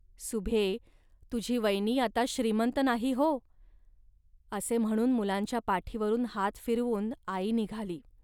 सुभ्ये, तुझी वयनी आता श्रीमंत नाही, हो. असे म्हणून मुलांच्या पाठीवरून हात फिरवून आई निघाली